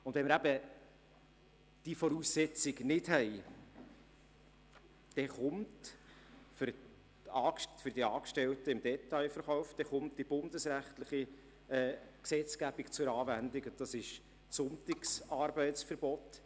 Ohne diese Voraussetzung kommt die bundesrechtliche Gesetzgebung für die Angestellten im Detailverkauf zur Anwendung wie das Sonntagsarbeitsverbot.